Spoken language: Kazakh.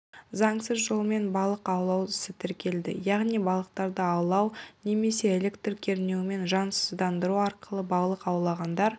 заңсыз жолмен балық аулау ісі тіркелді яғни балықтарды аулау немесе электр кернеуімен жансыздандыру арқылы балық аулағандар